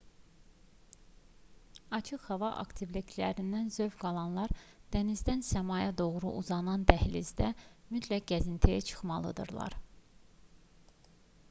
açıq hava aktivliklərindən zövq alanlar dənizdən səmaya doğru uzanan dəhlizdə mütləq gəzintiyə çıxmalıdırlar